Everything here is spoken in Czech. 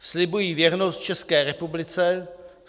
"Slibuji věrnost České republice.